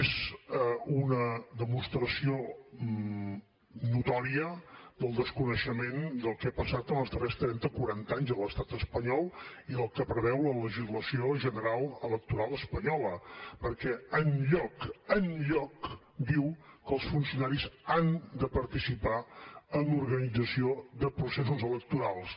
és una demostració notòria del desconeixement del que ha passat en els darrers trenta quaranta anys a l’estat espanyol i del que preveu la legislació general electoral espanyola perquè enlloc enlloc diu que els funcionaris han de participar en l’organització de processos electorals